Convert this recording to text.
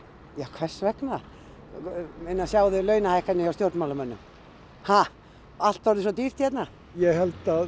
hvers vegna sjáðu launahækkanir hjá stjórnmálamönnum allt orðið svo dýrt hérna ég held að